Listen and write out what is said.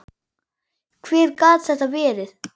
Hver gat þetta verið?